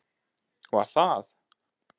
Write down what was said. Var það?